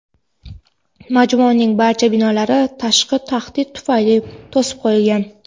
majmuaning barcha binolari "tashqi tahdid tufayli" to‘sib qo‘yilgan.